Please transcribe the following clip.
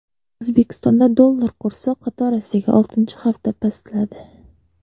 O‘zbekistonda dollar kursi qatorasiga oltinchi hafta pastladi.